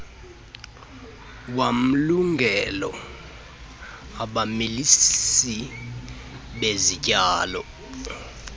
wamlungelo abamilisi bezityalo